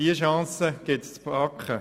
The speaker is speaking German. Diese Chance gilt es zu packen.